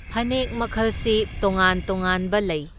ꯐꯅꯦꯛ ꯃꯈꯜꯁꯤ ꯇꯣꯉꯥꯟ ꯇꯣꯉꯥꯟꯕ ꯂꯩ꯫